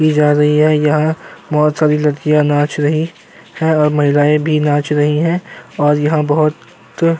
की जा रही है। यहाँ बहुत सारी लड़कियां नाच रही हैं और महिलाये भी नाच रही हैं और यहाँ बहुत --